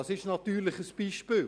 das ist natürlich ein Beispiel.